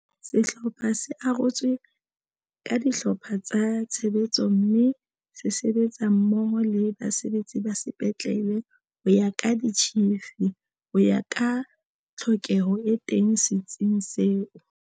Sehlopha se arotswe ka dihlopha tsa tshebetso mme se sebetsa mmoho le basebetsi ba sepetlele ho ya ka ditjhifi, ho ya ka tlhokeho e teng se tsing seo.